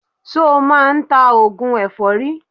Ṣo máa ń ta oògùn èfọ́rí?